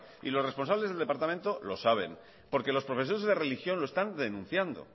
y los responsables del departamento lo saben porque los profesores de religión lo están denunciando